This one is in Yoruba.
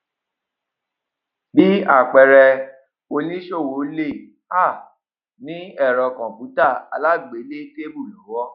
bí àpẹẹrẹ oníṣòwò lè um ní ẹrọ computer alágbélétábìlì lọwọ